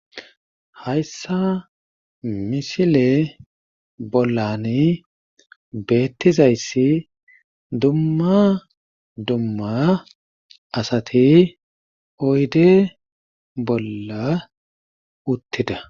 Hayssa misile bollani beettizayssi dumma dumma asati oyde bolla uttidida.